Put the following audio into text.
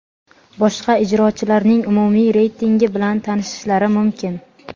boshqa ijrochilarning umumiy reytingi bilan tanishishlari mumkin.